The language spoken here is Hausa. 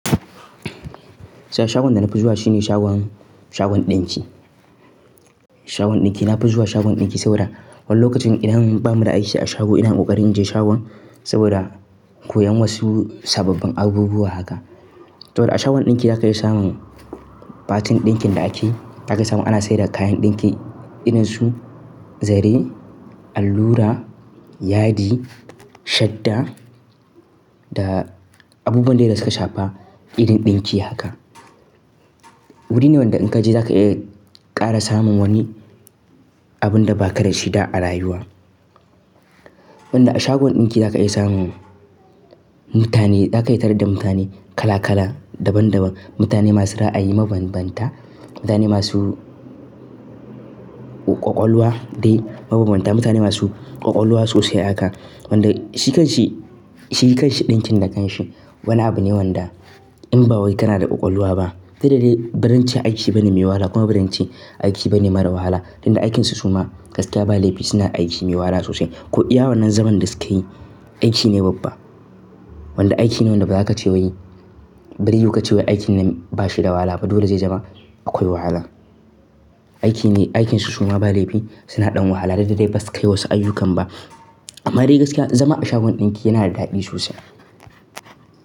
Sha-shagon da na fi zuwa shine shagon, shagon ɗinki. Shagon ɗinki, na fi zuwa shagon ɗinki saboda wani lokacin idan ba mu da aiki a shago ina ƙoƙarin in je shagon saboda koyan wasu sababbin abubuwa haka. To da a shagon ɗinki zaka iya samun batin ɗinkin da ake, zaka iya samun ana saida kayan ɗinki irin su zare, allura, yadi, shadda da abubuwan dai da suka shafa irin ɗinki haka. Wuri ne wanda in ka je zaka iya ƙara samun wani abun da ba ka dashi da a rayuwa. Wanda a shagon ɗinki zaka iya samun mutane, zaka yi tarar da mutane kala kala, daban daban, mutane masu ra'ayi mabambanta, mutane masu ƙwaƙwalwa dai mabambanta, mutane masu ƙwaƙwalwa sosai haka. Wanda shi kan shi, shi kan shi ɗinkin da kan shi. Wani abu ne wanda in ba wai kana da ƙwaƙwalwa ba, dukda dai baran ce aiki ba ne mai wahala kuma baran ce aiki ba ne mara wahala. Tunda aikinsu suma gaskiya ba laifi suna aiki mai wahala sosai. Ko iya wannan zaman da sukeyi aiki ne babba. Wanda aiki ne wanda ba za ka ce wai, bare yiwu kace wai aikin nan ba shi da wahala ba dole zai zama akwai wahala. Aiki ne, aikinsu suma ba laifi suna ɗan wahala dukda dai basu kai wasu ayyukan ba. Amma dai gaskiya zama a shagon ɗinki yana da daɗi sosai.